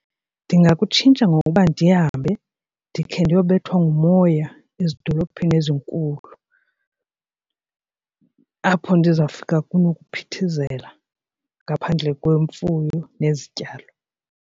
Ndingakutshintsha ngokuba ndihambe ndikhe ndiyobethwa ngumoya ezidolophini ezinkulu apho ndizawufika kunokuphithizela ngaphandle kwemfuyo nezityalo.